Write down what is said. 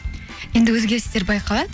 енді өзгерістер байқалады